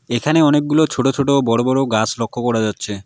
এখানে অনেকগুলো ছোট ছোট বড় বড় গাছ লক্ষ্য করা যাচ্ছে।